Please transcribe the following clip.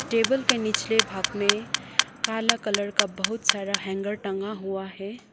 Table के निचले भाग में काला कलर का बहुत सारा हैंगर टंगा हुआ हैं।